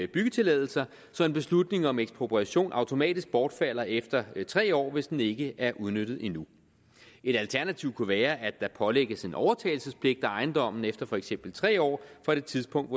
byggetilladelser så en beslutning om ekspropriation automatisk bortfalder efter tre år hvis den ikke er udnyttet endnu et alternativ kunne være at der pålægges en overtagelsespligt af ejendommen efter for eksempel tre år fra det tidspunkt